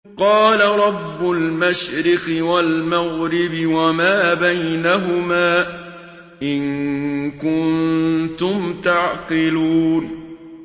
قَالَ رَبُّ الْمَشْرِقِ وَالْمَغْرِبِ وَمَا بَيْنَهُمَا ۖ إِن كُنتُمْ تَعْقِلُونَ